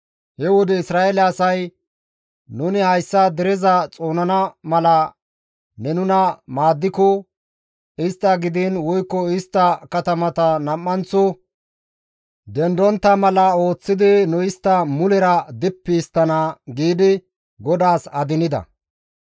He wode Isra7eele asay, «Nuni hayssa dereza xoonana mala ne nuna maaddiko istta gidiin woykko istta katamata nam7anththo dendontta mala ooththidi nu istta mulera dippi histtana» giidi GODAAS adinida.